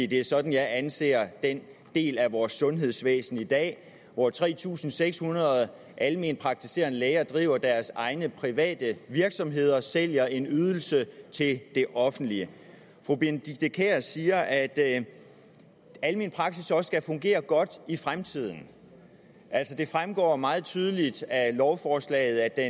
det er sådan jeg anser den del af vores sundhedsvæsen i dag hvor tre tusind seks hundrede alment praktiserende læger driver deres egne private virksomheder og sælger en ydelse til det offentlige fru benedikte kiær siger at almen praksis også skal fungere godt i fremtiden altså det fremgår meget tydeligt af lovforslaget at